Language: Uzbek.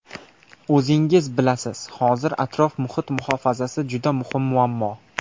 O‘zingiz bilasiz, hozir atrof-muhit muhofazasi juda muhim muammo.